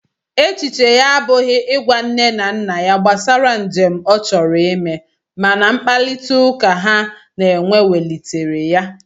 Echiche ya abụghị ịgwa nne na nna ya gbasara njem ọ chọrọ ime, mana mkparịtaụka ha na-enwe welitere ya.